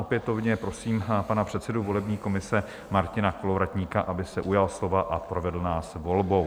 Opětovně prosím pana předsedu volební komise Martina Kolovratníka, aby se ujal slova a provedl nás volbou.